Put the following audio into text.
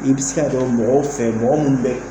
I bɛ se ka dɔn mɔgɔw fɛ mɔgɔ minnu bɛ